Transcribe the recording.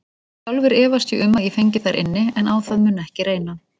Sjálfur efast ég um að ég fengi þar inni, en á það mun ekki reyna.